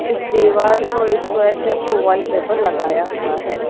इस दीवार को स्क्वायर शेप के वॉलपेपर लगाया हुआ है।